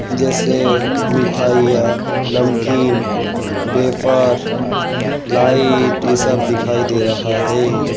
जैसे मिठाइयां नमकीन बेफर लाइट ये सब दिखाई दे रहा है।